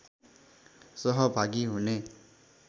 सहभागी हुने